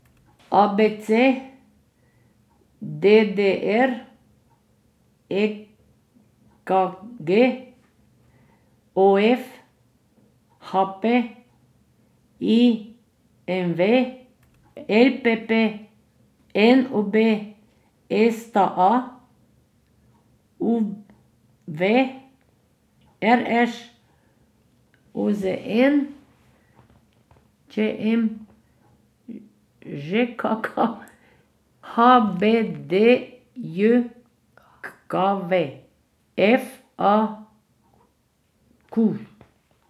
A B C; D D R; E K G; O F; H P; I M V; L P P; N O B; S T A; U V; R Š; O Z N; Č M; Ž K K; H B D J K V; F A Q.